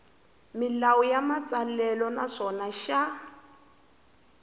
milawu ya matsalelo naswona xa